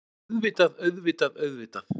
Auðvitað, auðvitað, auðvitað.